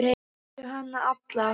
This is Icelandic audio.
Lastu hana alla?